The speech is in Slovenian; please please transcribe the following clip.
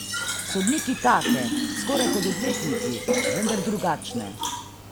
Sodniki take, skoraj kot odvetniki, vendar drugačne.